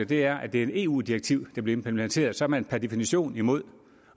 det er et eu direktiv der bliver implementeret så er man per definition imod